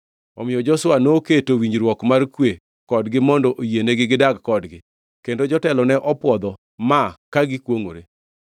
Omiyo Joshua noketo winjruok mar kwe kodgi mondo oyienegi gidag kodgi, kendo jotelo ne opwodho ma ka gikwongʼore.